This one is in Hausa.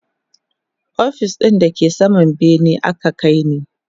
ofis ɗin da ke saman bene aka kaini